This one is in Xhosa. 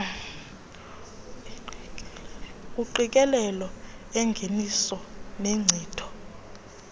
engqikelelo engeniso nenkcitho